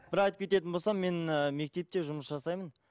бір айтып кететін болсам мен і мектепте жұмыс жасаймын